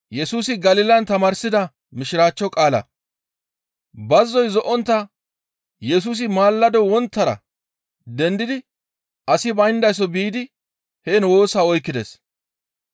Bazzoy zo7ontta Yesusi maalado wonttara dendidi asi bayndaso biidi heen woosa oykkides.